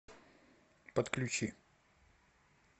подключи